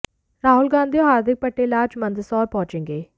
राहुल गांधी और हार्दिक पटेल आज मंदसौर पहुंचेंगे